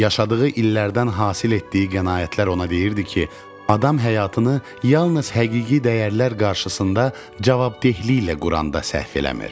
Yaşadığı illərdən hasil etdiyi qənaətlər ona deyirdi ki, adam həyatını yalnız həqiqi dəyərlər qarşısında cavabdehliklə quranda səhv eləmir.